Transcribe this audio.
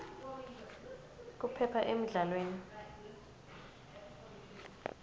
kuphepha emidlalweni